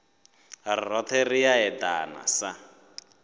rothe ri a edana sa